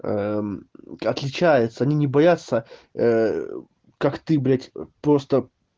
отличаются они не боятся как ты блядь просто